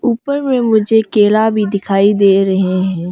ऊपर में मुझे केला भी दिखाई दे रहे हैं।